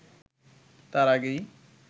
তার আগেই